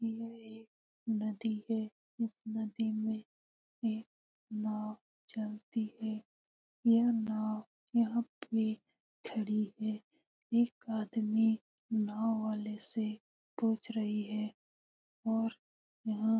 यह एक नदी है। उस नदी मे एक नाव चलती है। यह नाव यहां पे खड़ी है। एक आदमी नाव वाले से पुछ रही है। और यहा --